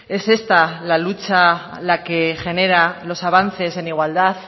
es esta la lucha la que genera los avances en igualdad